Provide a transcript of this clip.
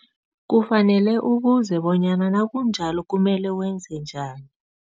Kufanele ubuze bonyana nakunjalo kumele wenze njani.